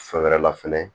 Fɛn wɛrɛ la fɛnɛ